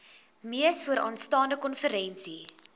mees vooraanstaande konferensie